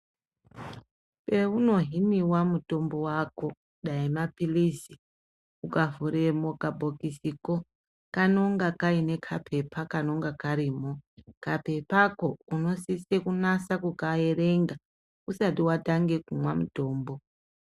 Peunohiniwa mutombo wako dai maphilizi ukavhure mukabhokisiko kanonga Kaine kapepa kanonga karimo , kapepako unoseise kunasa kukaerenga usati watanga kumwa mutombo.